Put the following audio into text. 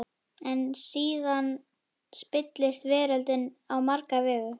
En síðan spillist veröldin á marga vegu.